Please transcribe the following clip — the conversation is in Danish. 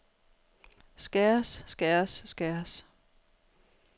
skæres skæres skæres